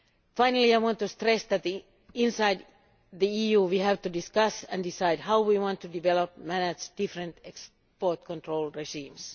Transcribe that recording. Finally, I want to stress that within the EU we have to discuss and decide how we want to develop and manage different export control regimes.